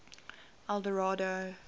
eldorado